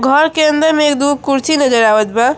Hall के अंदर में एक दो कुर्सी नजर आवत बा।